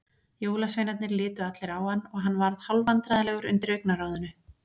Jólasveinarnir litu allir á hann og hann varð hálfvandræðalegur undir augnaráðinu.